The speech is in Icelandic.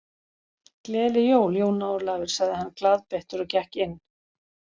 Gleðileg jól, Jón Ólafur sagði hann glaðbeittur og gekk inn.